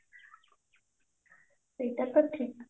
ସେଇଟା ତ ଠିକ